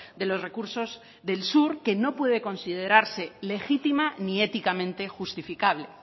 de los recursos del sur que no puede considerarse legitima ni éticamente justificable